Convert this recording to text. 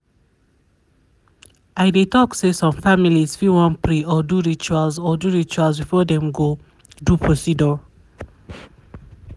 i dey talk say some families fit wan pray or do rituals or do rituals before dem go do procedure.